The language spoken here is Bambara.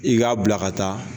I k'a bila ka taa